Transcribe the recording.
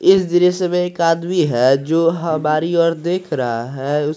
इस दृश्य में एक आदमी है जो हमारी ओर देख रहा है।